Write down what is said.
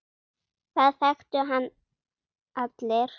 Það þekktu hann allir.